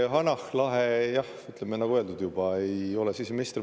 Hanah Lahe, jah, nagu öeldud, ei ole siseminister.